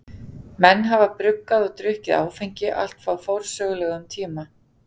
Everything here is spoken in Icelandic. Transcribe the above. Menn hafa bruggað og drukkið áfengi allt frá forsögulegum tíma.